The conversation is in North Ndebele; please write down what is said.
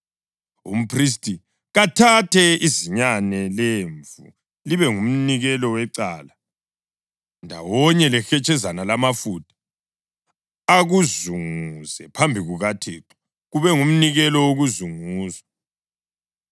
Umphristi kathathe izinyane lemvu libe ngumnikelo wecala, ndawonye lehetshezana lwamafutha, akuzunguze phambi kukaThixo, kube ngumnikelo wokuzunguzwa.